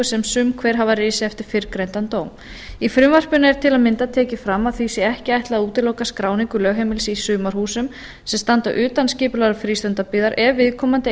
sem sum hver hafa risið eftir fyrrgreindan dóm í frumvarpinu er til að mynda tekið fram að því sé ekki ætlað að útiloka skráningu lögheimilis í sumarhúsum sem standa utan skipulags frístundabyggðar ef viðkomandi